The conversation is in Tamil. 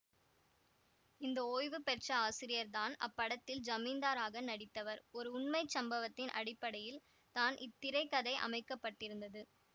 இந்த ஓய்வுபெற்ற ஆசிரியர் தான் அப்படத்தில் ஜமீந்தாராக நடித்தவர் ஒரு உண்மை சம்பவத்தின் அடிப்படையில் தான் இத்திரைக்கதை அமைக்க பட்டிருந்தது